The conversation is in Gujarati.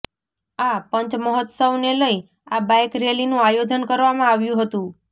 આ પંચમહોત્સવનેલઇ આ બાઇક રેલીનું આયોજન કરવામાં આવ્યુ હતું